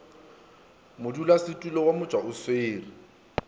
modulasetulo wa motšwa o swere